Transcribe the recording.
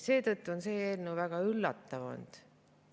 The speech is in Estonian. Seetõttu on see eelnõu väga üllatanud.